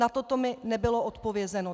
Na to mi nebylo odpovězeno.